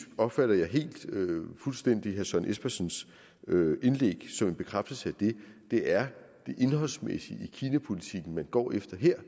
opfatter jeg helt fuldstændig herre søren espersens indlæg som en bekræftelse af det det er det indholdsmæssige i kinapolitikken man går efter her